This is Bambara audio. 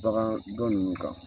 Daga dɔ ninnu kan